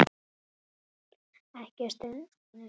Ekki stunu.